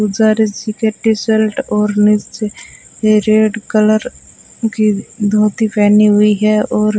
और नीचे red colour की धोती पहनी हुई है और --